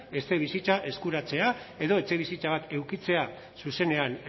etxebizitza eskuratzea edo etxebizitza bat edukitzea zuzenean